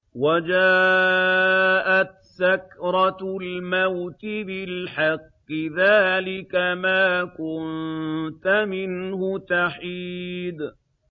وَجَاءَتْ سَكْرَةُ الْمَوْتِ بِالْحَقِّ ۖ ذَٰلِكَ مَا كُنتَ مِنْهُ تَحِيدُ